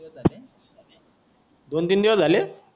दोन तीन दिवस झाले